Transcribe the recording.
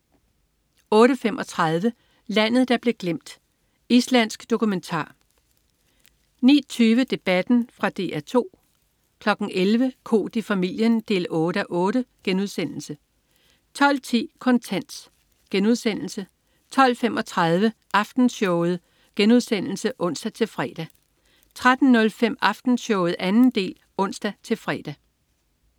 08.35 Landet der blev glemt. Islandsk dokumentar 09.20 Debatten. Fra DR 2 11.00 Koht i familien 8:8* 12.10 Kontant* 12.35 Aftenshowet* (ons-fre) 13.05 Aftenshowet 2. del (ons-fre)